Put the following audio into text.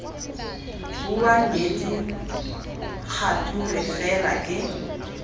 bua nnete kgature fela ke